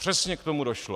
Přesně k tomu došlo.